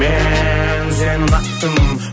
мен сені ұнатып тұрмын